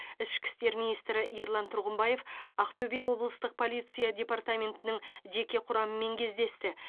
ішкі істер министрі ерлан тұрғымбаев ақтөбе облыстық полиция департаментінің жеке құрамымен кездесті